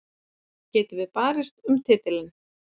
Getum við barist um titilinn?